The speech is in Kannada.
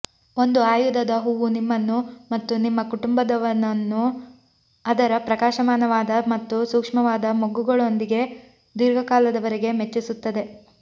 ಒಂದು ಆಯುಧದ ಹೂವು ನಿಮ್ಮನ್ನು ಮತ್ತು ನಿಮ್ಮ ಕುಟುಂಬವನ್ನು ಅದರ ಪ್ರಕಾಶಮಾನವಾದ ಮತ್ತು ಸೂಕ್ಷ್ಮವಾದ ಮೊಗ್ಗುಗಳೊಂದಿಗೆ ದೀರ್ಘಕಾಲದವರೆಗೆ ಮೆಚ್ಚಿಸುತ್ತದೆ